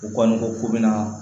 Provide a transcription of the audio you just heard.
U kɔni ko k'u bɛna